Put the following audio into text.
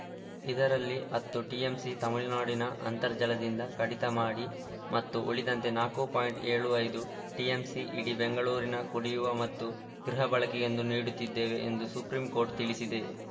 ಇದರಲ್ಲಿ ಹತ್ತು ಟಿಎಂಸಿ ತಮಿಳುನಾಡಿನ ಅಂತರ್ಜಲದಿಂದ ಕಡಿತ ಮಾಡಿ ಮತ್ತು ಉಳಿದಂತೆ ನಾಲ್ಕು ಪಾಯಿಂಟ್ ಎಪ್ಪತ್ತ್ ಐದು ಟಿಎಂಸಿ ಇಡೀ ಬೆಂಗಳೂರಿನ ಕುಡಿಯವ ಮತ್ತು ಗೃಹ ಬಳಕೆಗೆಂದು ನೀಡುತ್ತಿದ್ದೇವೆ ಎಂದು ಸುಪ್ರೀಂ ಕೋರ್ಟ್‌ ತಿಳಿಸಿದೆ